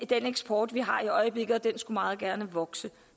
den eksport vi har i øjeblikket og den skulle meget gerne vokse